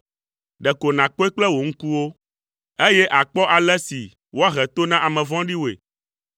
Ɖeko nàkpɔe kple wò ŋkuwo, eye àkpɔ ale si woahe to na ame vɔ̃ɖiwoe.